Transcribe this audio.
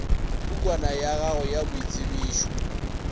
pukwana ya gago ya boitsebišo